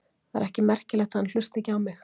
Það er ekki merkilegt að hann hlusti ekki á mig.